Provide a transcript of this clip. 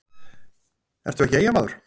ertu ekki Eyjamaður?